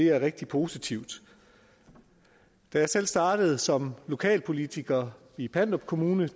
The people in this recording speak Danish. er rigtig positivt da jeg selv startede som lokalpolitiker i pandrup kommune